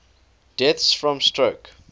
deaths from stroke